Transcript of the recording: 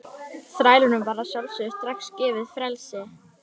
Þrælunum var að sjálfsögðu strax gefið frelsi.